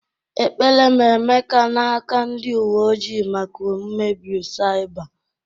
Ekpere m Emeka n'aka ndị uwe ojii maka mmegbu saịba.